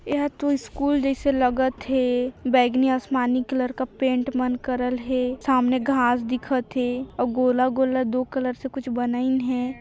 एहा तो स्कूल जैसे लगत थे बैंगनी आसमानी कलर का पेंट मन करल थे सामने घास दिखत थे अउ गोला-गोला दो कलर से कुछ बनाइन है।